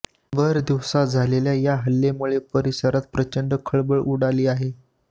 भर दिवसा झालेल्या या हल्ल्यामुळे परिसरात प्रचंड खळबळ उडाली आहे